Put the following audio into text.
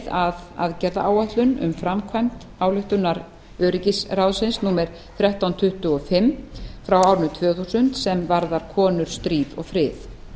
að aðgerðaáætlun um framkvæmd ályktunar öryggisráðsins númer þrettán hundruð tuttugu og fimm frá árinu tvö þúsund sem varðar konur stríð og frið